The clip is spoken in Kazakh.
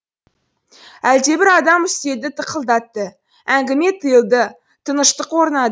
әлдебір адам үстелді тықылдатты әңгіме тыйылды тыныштық